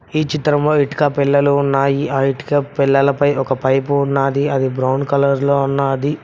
ఈ చిత్రంలో ఇటుక పెల్లలు ఉన్నాయి ఆ ఇటుక పెల్లలు పై ఒక పైపు ఉన్నది అది బ్రౌన్ కలర్ లో ఉన్నది.